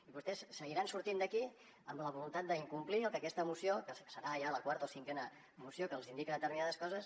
i vostès seguiran sortint d’aquí amb la voluntat d’incomplir el que aquesta moció que serà ja la quarta o cinquena moció que els indica determinades coses